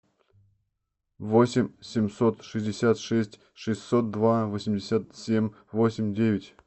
восемь семьсот шестьдесят шесть шестьсот два восемьдесят семь восемь девять